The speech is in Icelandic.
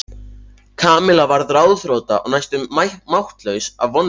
Kamilla varð ráðþrota og næstum máttlaus af vonleysi.